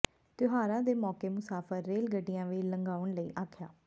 ਤਿਉਹਾਰਾਂ ਦੇ ਮੌਕੇ ਮੁਸਾਫ਼ਰ ਰੇਲ ਗੱਡੀਆਂ ਵੀ ਲੰਘਾਉਣ ਲਈ ਆਖਿਆ